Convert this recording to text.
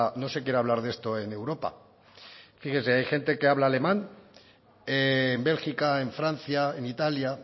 no se quiere hablar de esto en europa fíjese hay gente que habla alemán en bélgica en francia en italia